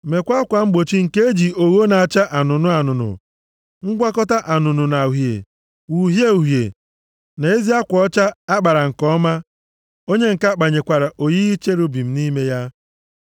“Meekwa akwa mgbochi nke e ji ogho na-acha anụnụ anụnụ, ngwakọta anụnụ na uhie, uhie uhie na ezi akwa ọcha a kpara nke ọma, onye ǹka kpanyekwara oyiyi cherubim nʼime ya.